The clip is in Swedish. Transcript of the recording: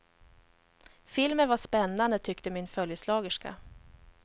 Filmen var spännande, tyckte min följeslagerska.